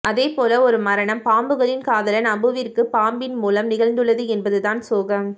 அதே போல ஒரு மரணம் பாம்புகளின் காதலன் அபுவிற்கு பாம்பின் மூலம் நிகழ்ந்துள்ளது என்பதுதான் சோகம்